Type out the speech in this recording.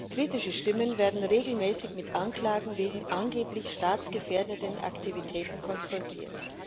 Kritische Stimmen werden regelmäßig mit Anklagen wegen angeblich staatsgefährdenden Aktivitäten konfrontiert.